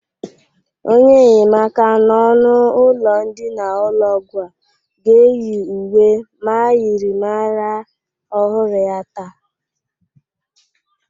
Onye nnyemaka n'ọnụ ụlọ ndịna ụlọ ọgwọ a ga-eyi uwe myịrịmara ọhụrụ ya taa.